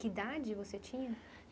Que idade você tinha?